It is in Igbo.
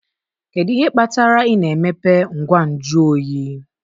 Kedu ihe kpatara ị na-emepe ngwa nju oyi